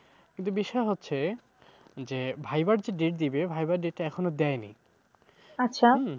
কিন্তু বিষয় হচ্ছে, যে, viva র যে date দেবে viva র date টা এখনো দেয়নি।